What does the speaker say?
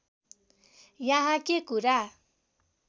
यहाँ के कुरा